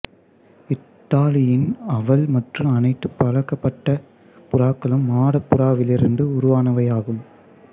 Italian owl மற்றும் அனைத்து பழக்கப்படுத்தப்பட்ட புறாக்களும் மாடப் புறாவிலிருந்து உருவானவையாகும்